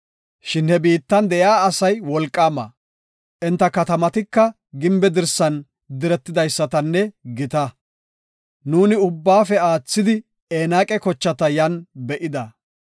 Shin he biittan de7iya asay wolqaama; enta katamatika gimbe dirsan diretidaysatanne gita. Nuuni ubbaafe aathidi Enaaqa kochata yan be7ida.